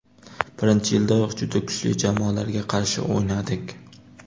Birinchi yildayoq juda kuchli jamoalarga qarshi o‘ynadik.